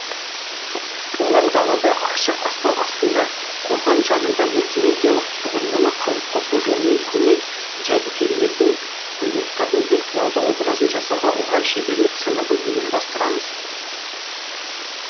олар далада ашық аспан астында қорған жанында мультимедиалық тұғырнама қалыптасу жолымен көне жәдігерлердің құндылықтардың виртуалды образын жасауға орай шеберлік сыныбын ұйымдастырамыз